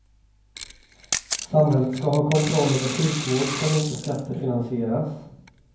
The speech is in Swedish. Samhället ska ha kontroll över sjukvård som inte skattefinansieras.